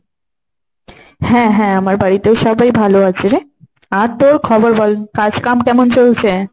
হ্যাঁ হ্যাঁ আমার বাড়িতে সবাই ভালো আছে রে। আর তোর খবর বল, কাজ কাম কেমন চলছে?